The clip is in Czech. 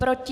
Proti?